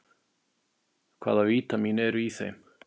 Hvaða vítamín eru í þeim?